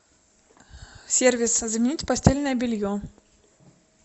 сервис заменить постельное белье